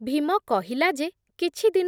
ଭୀମ କହିଲା ଯେ କିଛି ଦିନ